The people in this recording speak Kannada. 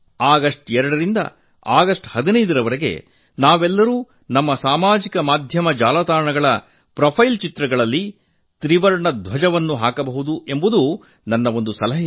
ಆಗಸ್ಟ್ 2 ರಿಂದ ಆಗಸ್ಟ್ 15ರವರೆಗೆ ನಾವೆಲ್ಲರೂ ನಮ್ಮ ಸಾಮಾಜಿಕ ಮಾಧ್ಯಮ ಜಾಲತಾಣಗಳ ಪ್ರೊಫೈಲ್ ಚಿತ್ರಗಳಲ್ಲಿ ತ್ರಿವರ್ಣ ಧ್ವಜ ಹಾಕಿಕೊಳ್ಳಬೇಕು ಎಂಬುದು ನನ್ನ ಸಲಹೆ